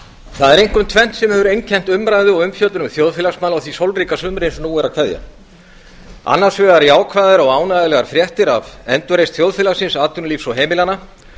það er einkum tvennt sem hefur einkennt umræðu og umfjöllun um þjóðfélagsmál á því sólríka sumri sem nú er að kveðja annars vegar jákvæðar og ánægjulegar fréttir af endurreisn þjóðfélagsins atvinnulífs og heimilanna